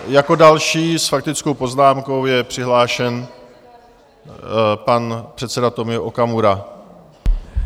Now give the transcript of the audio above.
Jako další s faktickou poznámkou je přihlášen pan předseda Tomio Okamura.